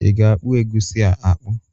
I ga-akpụ egusi a akpụ?